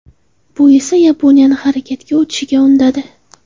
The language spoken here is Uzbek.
Bu esa Yaponiyani harakatga o‘tishga undadi.